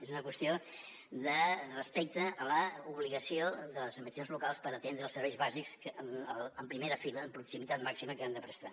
és una qüestió de respecte a l’obligació de les administracions locals per atendre els serveis bàsics en primera fila amb proximitat màxima que han de prestar